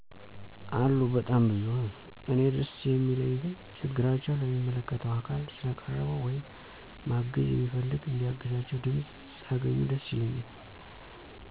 አሉ በጣም ብዙ። እኔ ደስ የሚለኝ ግን ችግራቸው ለሚመለከተው አካል ስለቀረበ ወይም ማገዝ የሚፈልግ እንዲያግዛቸው ድምፅ ስላገኙ ደስ ይለኛል።